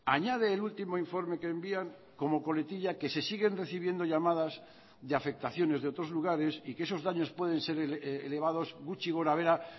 añade el último informe que envían como coletilla que se siguen recibiendo llamadas de afectaciones de otros lugares y que esos daños pueden ser elevados gutxi gorabehera